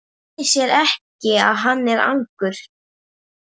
Það leynir sér ekki að hann er argur.